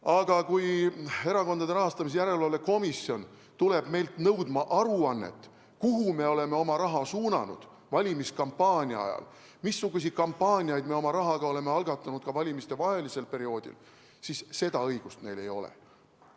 Aga kui Erakondade Rahastamise Järelevalve Komisjon tuleb meilt nõudma aruannet, et kuhu me oleme oma raha suunanud valimiskampaania ajal, missuguseid kampaaniaid me oma rahaga oleme algatanud ka valimistevahelisel perioodil, siis seda õigust neil ei ole.